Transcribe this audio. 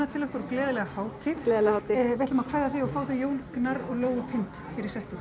til okkar og gleðilega hátíð gleðilega hátíð við ætlum að kveðja þig og fá þau Jón Gnarr og Lóu Pind hér í settið